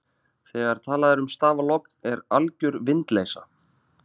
þegar talað er um stafalogn er alger vindleysa